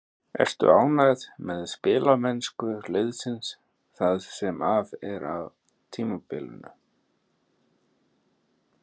Ertu ánægð með spilamennsku liðsins það sem af er tímabilinu?